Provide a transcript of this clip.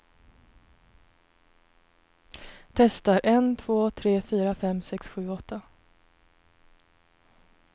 Testar en två tre fyra fem sex sju åtta.